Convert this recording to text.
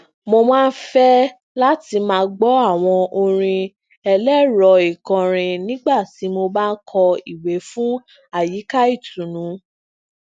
mo máa ń fẹ lati maa gbọ àwọn orin ẹlẹrọikọrin nígbà tí mo bá ń kọ ìwé fun ayika itunu